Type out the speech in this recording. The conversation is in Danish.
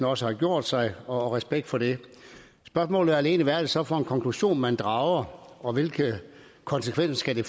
også har gjort sig og respekt for det spørgsmålet er alene hvad er det så for en konklusion man drager og hvilke konsekvenser skal det